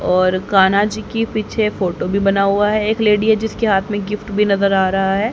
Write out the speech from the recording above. और कान्हा जी की पीछे फोटो भी बना हुआ है। एक लेडी है जिसके हाथ में गिफ्ट भी नजर आ रहा है।